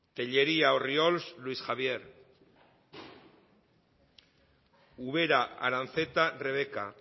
tellería orriols luis javier ubera aranzeta rebeka